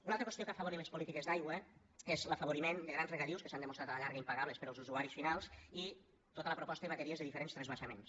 una altra qüestió que ha afavorit les polítiques d’aigua és l’afavoriment de grans regadius que s’han demostrat a la llarga impagables per als usuaris finals i tota la proposta i bateries de diferents transvasaments